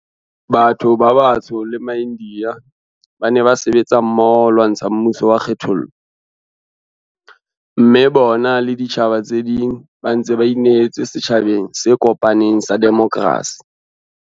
Batho ba batsho le maIndiya ba ne ba sebetsa mmoho ba lwantsha mmuso wa kgethollo, mme bona le ditjhaba tse ding ba ntse ba inehetse setjha beng se kopaneng sa demokrasi.